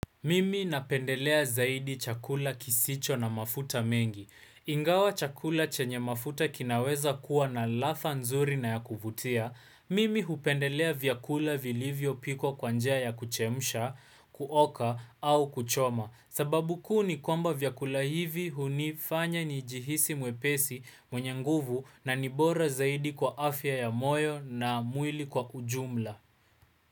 Mimi napendelea zaidi chakula kisicho na mafuta mengi. Ingawa chakula chenye mafuta kinaweza kuwa na ladha nzuri na ya kuvutia. Mimi hupendelea vyakula vilivyo pikwa kwanjia ya kuchemsha, kuoka au kuchoma. Sababu kuu nikwamba vyakula hivi hunifanya ni jihisi mwepesi mwenye nguvu na nibora zaidi kwa afya ya moyo na mwili kwa ujumla.